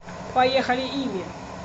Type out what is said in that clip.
поехали ими